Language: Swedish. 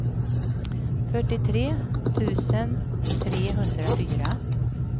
fyrtiotre tusen trehundrafyra